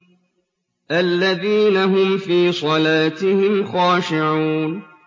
الَّذِينَ هُمْ فِي صَلَاتِهِمْ خَاشِعُونَ